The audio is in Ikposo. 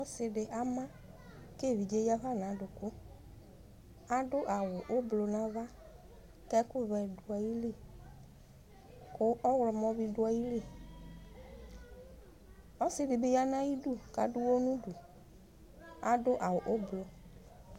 Ɔsidi ama Kevidzee yafa nadukʋAdʋ awu ʋblu navakɛkʋvɛ duayili Kʋ ɔɣlɔmɔ bi duayiliƆsidibi yanayidu, kadʋ ʋwɔ nuduAdʋ awu ublu